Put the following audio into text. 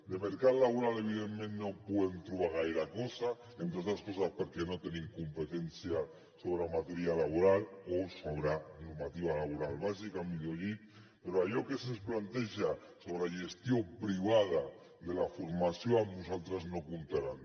de mercat laboral evidentment no podem trobar gaire cosa entre altres coses perquè no tenim competència sobre matèria laboral o sobre normativa laboral bàsica millor dit però en allò que se’ns planteja sobre la gestió privada de la formació amb nosaltres no hi comptaran